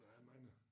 Der er mange